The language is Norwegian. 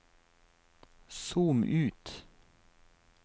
zoom ut